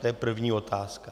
To je první otázka.